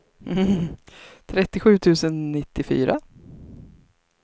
trettiosju tusen nittiofyra